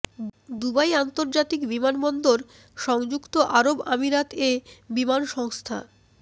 Dubai আন্তর্জাতিক বিমানবন্দর সংযুক্ত আরব আমিরাত এ বিমান সংস্থা